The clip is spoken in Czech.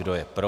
Kdo je pro?